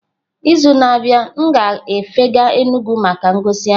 N'izu na-abịa, m ga-efega Enugwu maka ngosi ahụ.